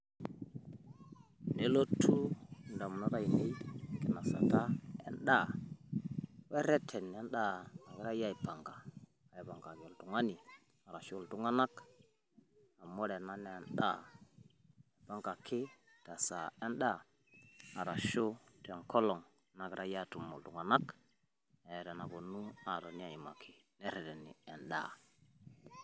nelotu idamunot aainei enkinosata edaa, wereten edaa nagirae aipanga. aapikikaki oltungani ashu iltunganak. amu ore ena naa edaa naipangaki esaa edaa. arshu tenkolong nagirae aatump iltunganak. eeta enapuonu aas.